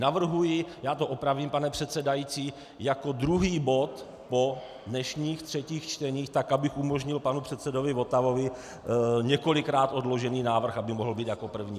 Navrhuji, já to opravím, pane předsedající, jako druhý bod po dnešních třetích čteních tak, abych umožnil panu předsedovi Votavovi několikrát odložený návrh, aby mohl být jako první.